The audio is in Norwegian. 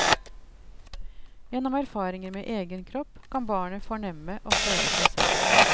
Gjennom erfaringer med egen kropp kan barnet fornemme og føle seg selv.